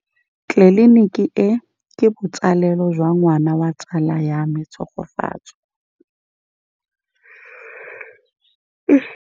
Tleliniki e, ke botsalêlô jwa ngwana wa tsala ya me Tshegofatso.